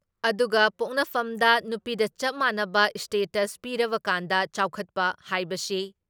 ꯑꯗꯨꯒ ꯄꯣꯛꯅꯐꯝꯗ ꯅꯨꯄꯤꯗ ꯆꯞ ꯃꯥꯟꯅꯕ ꯏꯁꯇꯦꯇꯁ ꯄꯤꯔꯕ ꯀꯥꯟꯗ ꯆꯥꯎꯈꯠꯄ ꯍꯥꯏꯕꯁꯤ